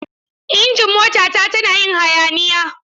Injin motata tana yin hayaniya.